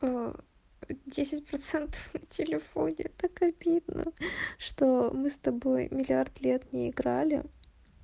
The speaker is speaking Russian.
десять процентов на телефоне так обидно что мы с тобой миллиард лет не играли